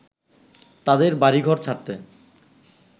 তাদের বাড়িঘর ছাড়তে